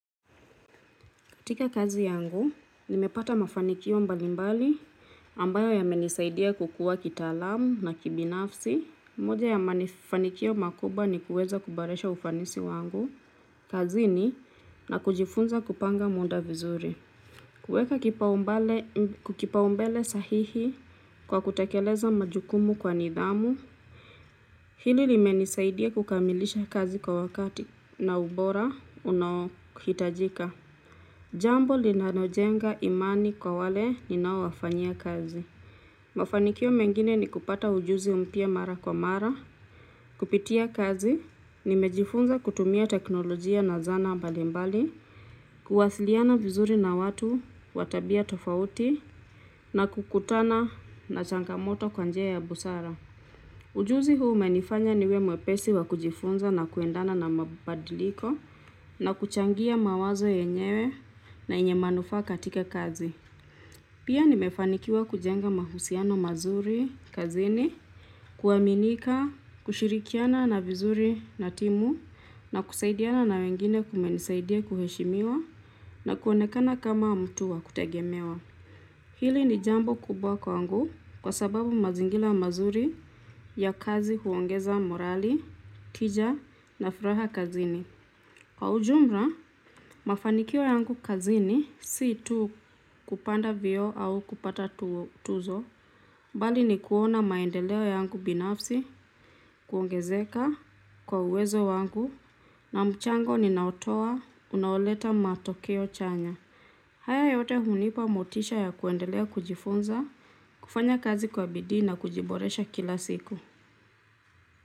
Katika kazi yangu, nimepata mafanikio mbalimbali ambayo yameni saidia kukua kitalamu na kibinafsi. Moja ya mafanikio makubwa ni kuweza kuboresha ufanisi wangu kazini na kujifunza kupanga muda vizuri kuweka kukipa umbele sahihi kwa kutekeleza majukumu kwa nidhamu. Hili limeni saidia kukamilisha kazi kwa wakati na ubora unaohitajika. Jambo linalojenga imani kwa wale ninao wafanyia kazi mafanikio mengine ni kupata ujuzi mara kwa mara kupitia kazi nimejifunza kutumia teknolojia na zana mbalimbali kuwasiliana vizuri na watu wa tabia tofauti na kukutana na changamoto kwa njia ya busara ujuzi huu umenifanya niwe mwepesi wa kujifunza na kuendana na mabadiliko na kuchangia mawazo yenyewe na yenye manufaa katika kazi. Pia nimefanikiwa kujenga mahusiano mazuri kazini, kuaminika, kushirikiana vizuri na timu na kusaidiana na wengine kumenisaidia kuheshimiwa na kuonekana kama mtu wa kutegemewa. Hili ni jambo kubwa kwangu kwa sababu mazingira mazuri ya kazi huongeza morali tija na furaha kazini kwa ujumlamafanikio yangu kazini si tu kupanda vioo au kupata tuzo bali ni kuona maendeleo yangu binafsi kuongezeka na kwa uwezo wangu na mchango ninao toa unaoleta matokeo chanya haya yote hunipa motisha ya kuendelea kujifunza kufanya kazi kwa bidii na kujiboresha kila siku.